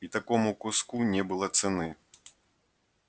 и такому куску не было цены